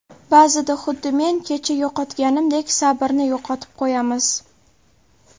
Ba’zida, xuddi men kecha yo‘qotganimdek, sabrni yo‘qotib qo‘yamiz.